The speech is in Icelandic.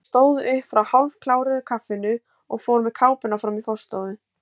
Hann stóð upp frá hálfkláruðu kaffinu og fór með kápuna fram í forstofu.